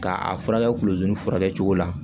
K'a furakɛ kulu furakɛ cogo la